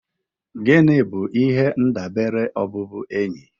Gịnị bụ ihe ndabere ọbụbụenyi?